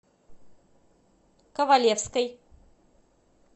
ковалевской